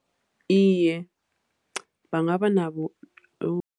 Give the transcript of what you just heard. Iye, bangaba nabo.